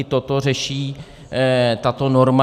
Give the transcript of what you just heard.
I toto řeší tato norma.